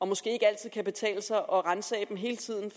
måske ikke altid kan betale sig at ransage dem hele tiden